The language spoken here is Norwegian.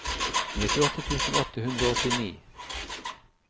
nittiåtte tusen åtte hundre og åttini